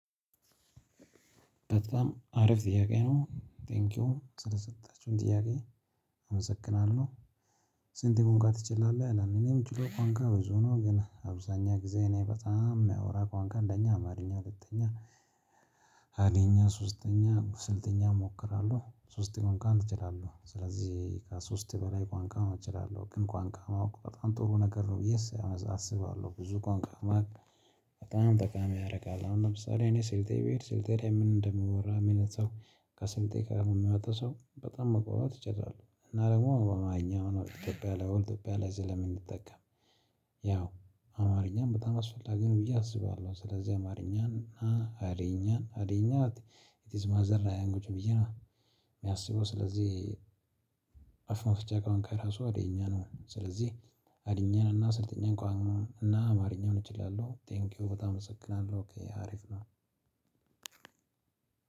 በጣም አሪፍ ጥያቄ ነው ቴንኪው ስለሰጣችሁኝ ጥያቄ አመሰግናለሁ። ስንት ቋንቋ ትችላለህ ይላል? እኔ ምችለው ቋንቋ ብዙ ነው ግን አብዛኛው ጊዜ እኔ በጣም የማወራው ቋንቋ እንደኛ አማርኛ ሁለተኛ ሃድይኛ ሶስተኛ ስልጥኛ እሞክራለሁ። ሶስት ቋንቋን እችላለሁ። ስለዚህ ከሶስት በላይ ቋንቋ አሁን እችላለሁ ግን ቋንቋ ማውቅ በጣም ጥሩ ነገር ነው ብዬ አስባለሁ። ብዙ ቋንቋ ማወቅ በጣም ጠቃሚ ያደርጋል። አሁን ለምሳሌ እኔ ስልጤ ብሄድ ስልጤ ላይ ምን እንደሚወራ ምን ሰው ከስልጤ ጋር የሚያወጣ ሰው በጣም መግባባት እችላለሁ። እና ደግሞ አማርኛ ነው ኢትዮጵያ ላይ ኢትዮጵያ ላይ ስለምንጠቀም ያው አማርኛም በጣም አስፈላጊ ነው ብዬ አስባለሁ። ስለዚህ አማርኛን እና ሐድይኛን ሐድይኛን ኢት ኢዝ ማዘር ላንጉጅ ብዬ ነው። የሚያስበው ስለዚህ አፍ መፍቻ ቋንቋ ከራሱ ሐዲይኛ ነው። ስለዚህ ሐዲይኛን እና ስልጥኛን ቋንቋን እና አማርኛን እችላለሁ። ቴንኪው በጣም አመሰግናለሁ አሪፍ ነው።